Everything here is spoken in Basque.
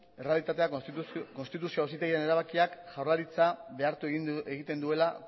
errealitatea konstituzio auzitegiaren erabakiak jaurlaritza behartu egiten duela